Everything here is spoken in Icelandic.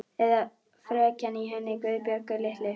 Eða frekjan í henni Guðbjörgu litlu.